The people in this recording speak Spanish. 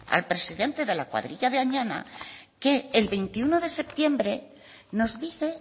al presidente de la cuadrilla de añana que el veintiuno de septiembre nos dice